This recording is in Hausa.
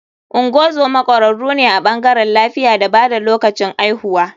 Ngozoma kwararu ne a bangarewn lafiya da bada kula lokacin aihuwa.